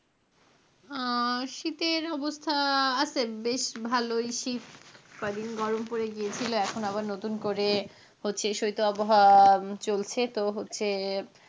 শীতের অবস্থা আছে, বেশ ভালই শীত ক'দিন গরম পরে গিয়েছিল এখন আবার নতুন করে হচ্ছে শিত আবহাওয়া চলছে তো হচ্ছে,